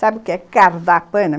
Sabe o que é